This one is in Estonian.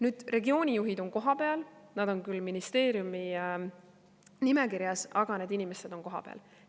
Nüüd, regioonijuhid on kohapeal, nad on küll ministeeriumi nimekirjas, aga need inimesed on kohapeal.